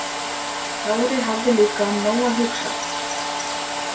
Kári hafði líka um nóg að hugsa.